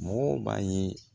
Mɔgɔw b'a ye